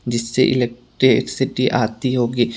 जिससे इलेक्ट्रिसिटी आती होगी।